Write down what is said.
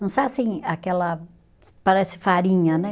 Não sai assim, aquela, parece farinha, né?